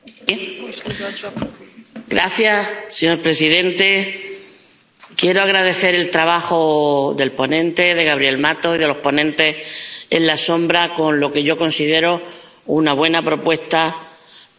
Señor presidente, quiero agradecer el trabajo del ponente, Gabriel Mato, y de los ponentes alternativos en lo que yo considero una buena propuesta para el próximo fondo de la pesca.